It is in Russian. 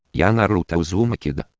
я наруто узумаки